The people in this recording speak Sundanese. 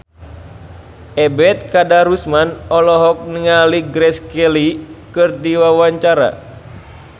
Ebet Kadarusman olohok ningali Grace Kelly keur diwawancara